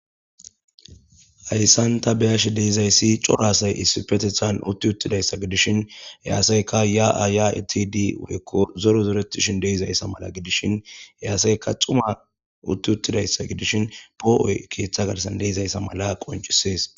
Hayssan ta beyash deezayssi coro asay issifetethan utti uttidayssa gidishin he asayka ya7a yayeitidi woyko zoro zoretishin deizayssa mala gidishin he asayka xuma utti uttidayssa gidishin poo7oy keeththa garsan deizayssa mala qoncisees.